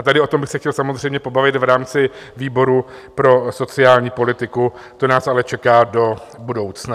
A tady o tom bych se chtěl samozřejmě pobavit v rámci výboru pro sociální politiku, to nás ale čeká do budoucna.